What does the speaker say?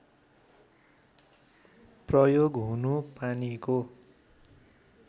प्रयोग हुनु पानीको